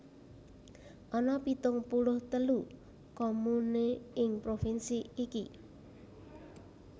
Ana pitung puluh telu comune ing provinsi iki